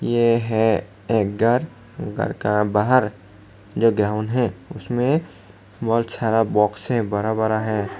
ये है एक घर घर का बाहर जो ग्राउंड है उसमें बहुत सारा बॉक्स है बरा बरा है।